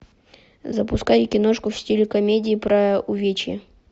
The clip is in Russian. запускай киношку в стиле комедии про увечье